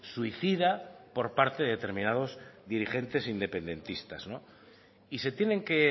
suicida por parte determinados dirigentes independentistas y se tienen que